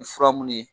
Ni fura mun ye